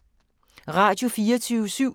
Radio24syv